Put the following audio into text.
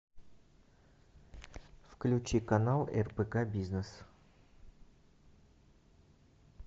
включи канал рбк бизнес